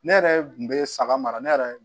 Ne yɛrɛ kun bɛ saga mara ne yɛrɛ